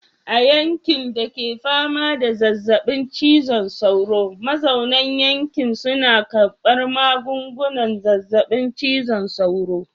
A yankin da ke fama da zazzabin cizon sauro, mazauna yankin suna karbar magungunan zazzabin cizon sauro.